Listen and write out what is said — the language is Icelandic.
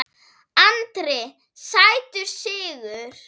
Andri: Sætur sigur?